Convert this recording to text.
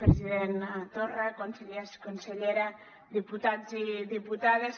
president torra consellers consellera diputats i diputades